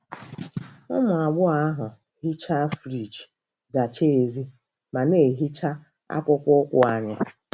Ụmụ agbọghọ ahụ hichaa friji, zachaa èzí, ma na-ehicha akpụkpọ ụkwụ anyị.